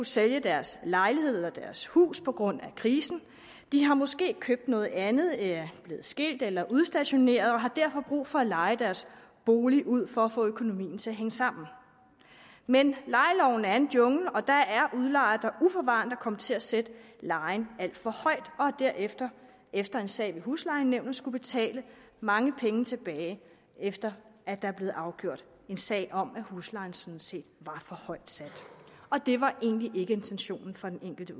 sælge deres lejlighed eller deres hus på grund af krisen de har måske købt noget andet er blevet skilt eller udstationeret og har derfor brug for at leje deres bolig ud for at få økonomien til at hænge sammen men lejeloven er en jungle og der er udlejere der uforvarende er kommet til at sætte lejen alt for højt og derefter efter en sag ved huslejenævnet har skullet betale mange penge tilbage efter at der er blevet afgjort en sag om at huslejen sådan set var for højt sat og det var egentlig ikke intentionen fra den enkelte